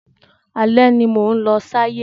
Alẹ́ ni mò ń lọ ṣayé.